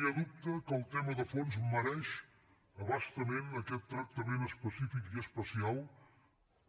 no hi ha dubte que el tema de fons mereix a bastament aquest tractament específic i especial